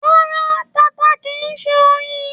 Ràrá, tata kìí ṣe oyin